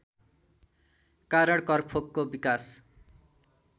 कारण करफोकको विकास